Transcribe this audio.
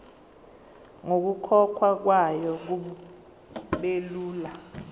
nokukhokhwa kwayo kubelula